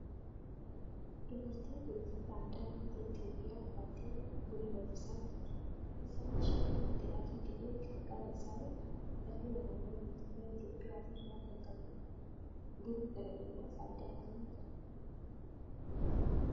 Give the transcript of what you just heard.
Dubartiin tun uffata aadaa ummata Itiyoophiyaa uffattee buna danfisaa jirti. uffanni isheen uffatte adii ta'ee qarqara isaa irraa halluu alaabaa mootummaa Itiyoophiyaa of irraa kan qabudha. Bunni dhala namaaf faayidaa akkamii qaba?